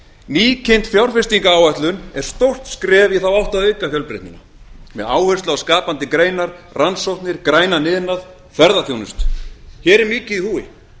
nýkynnt fjárfestingaráætlun er stórt skref í þá átt að auka fjölbreytnina með áherslu á skapandi greinar rannsóknir grænan iðnað ferðaþjónustu hér er mikið í húfi